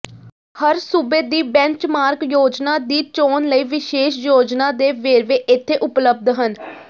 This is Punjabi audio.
ਹਰ ਸੂਬੇ ਦੀ ਬੈਂਚਮਾਰਕ ਯੋਜਨਾ ਦੀ ਚੋਣ ਲਈ ਵਿਸ਼ੇਸ਼ ਯੋਜਨਾ ਦੇ ਵੇਰਵੇ ਇੱਥੇ ਉਪਲਬਧ ਹਨ